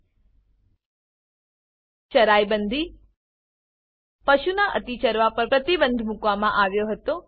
ચરાઈ Bandiચરાઈબંદી પશુના અતિ ચરવા પર પ્રતિબંધ મૂકવામાં આવ્યો હતો